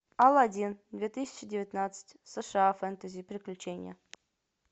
алладин две тысячи девятнадцать сша фэнтези приключения